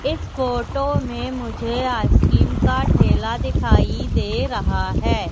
इस फोटो में मुझे आइसक्रीम का ठेला दिखाई दे रहा है।